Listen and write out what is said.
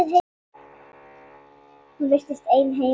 Hún virtist ein heima.